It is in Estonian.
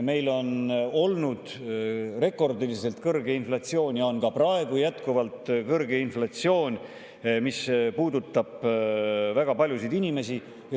Meil on olnud rekordiliselt kõrge inflatsioon ja on ka praegu jätkuvalt kõrge inflatsioon, mis puudutab väga paljusid inimesi.